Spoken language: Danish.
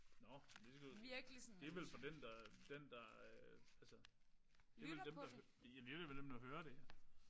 Nåh. Men det skal det vel for den der den der altså det vel dem der jamen det er vel dem der hører det